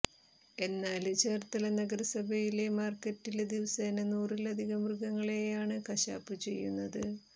എന്നാല് ചേര്ത്തല നഗരസഭയിലെ മാര്ക്കറ്റില് ദിവസേന നൂറിലധികം മൃഗങ്ങളെയാണ് കശാപ്പു ചെയ്യുന്നത്